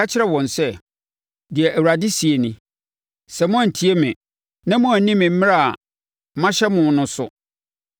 Ka kyerɛ wɔn sɛ, ‘Deɛ Awurade seɛ nie: Sɛ moantie me, na moanni me mmara a mahyɛ mo no so,